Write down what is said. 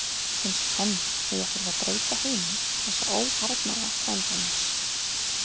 Finnst enn að ég þurfi að breyta heimi þessa óharðnaða frænda míns.